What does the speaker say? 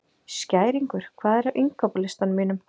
Skæringur, hvað er á innkaupalistanum mínum?